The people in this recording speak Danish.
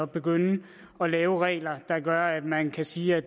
begynde at lave regler der gør at man kan sige at